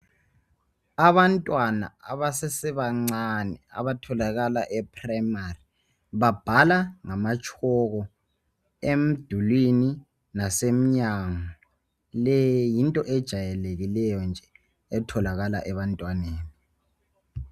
Abantwana abasesebancane abatholakala e primary babhala ngama tshoko emdulwini lasemnyango le yinto ejayelekileyo nje etholakala ebantwaneni.